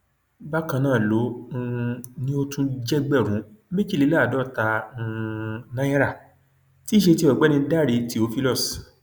bákan náà ló um ní ó tún jí ẹgbẹrún méjìléláàádọta um náírà tí í ṣe ti ọgbẹni dáre theophilus